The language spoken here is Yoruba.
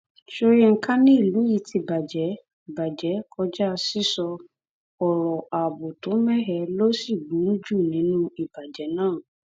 àkọjá ni níwọnba tí olùjẹjọ náà ti gbà pé òun jẹbi kí adájọ ṣe ẹjọ rẹ kíákíá